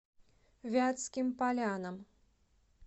вятским полянам